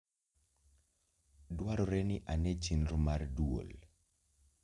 Dwarore ni ane chenro mar dwol